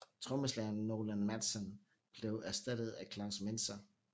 Trommeslageren Nolan Mattsson blev erstattet af Klaus Menzer